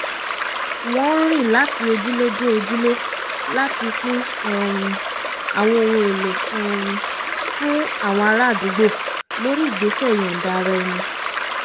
wọ́n rìn láti ojúlé dé ojúlé láti pín um àwọn ohn èlò um fún àwọn ará àdúgbò lórí ìgbésẹ̀ ìyọ̀nda-ara-ẹni